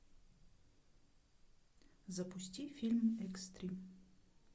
запусти фильм экстрим